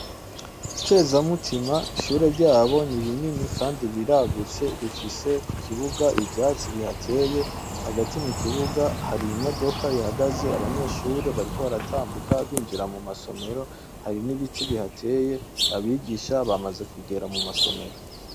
Kezamutima ishure ryabo ni rinini kandi riragutse rifise ku kibuga ivyatsi bihateye, hagati mu kibuga hari imodoka ihagaze abanyeshuri bariko baratambuka binjira mu masomero, hari n'ibiti bihateye, abigisha bamaze kugera mu masomero.